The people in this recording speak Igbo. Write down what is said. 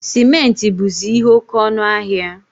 Simenti buzi ihe oke ọnụ ahịa